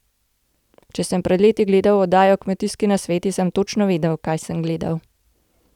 Če sem pred leti gledal oddajo Kmetijski nasveti, sem točno vedel, kaj sem gledal.